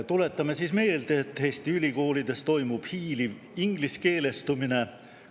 Tuletame meelde, et Eesti ülikoolides toimub hiiliv ingliskeelestumine.